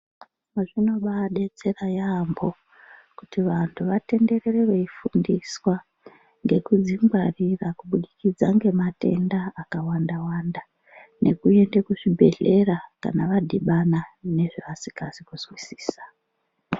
Zvinobabetsera yaambo kuti vantu vatenderere veifundiswa ngekudzingwarira kubudikidza ngematenda akawanda-wanda. Nekuende kuzvibhedhlera kana vadhibana nezvevasikazi kuzwisisa.